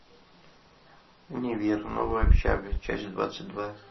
универ новая общага часть двадцать два